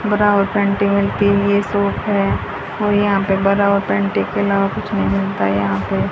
ब्रा और पैंटी वेंटी की ये शॉप है और यहां पे ब्रा और पैंटी के अलावा कुछ नहीं मिलता है यहां पे।